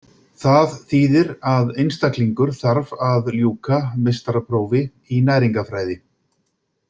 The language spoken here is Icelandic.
Það þýðir að einstaklingur þarf að ljúka meistaraprófi í næringarfræði.